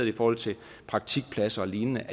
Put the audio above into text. i forhold til praktikpladser og lignende